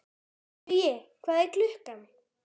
Hugi, hvað er klukkan?